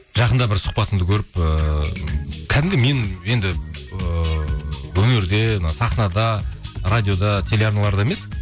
жақында бір сұхбатыңды көріп ыыы кәдімгі мен енді ыыы өнерде мына сахнада радиода теле арналарда емес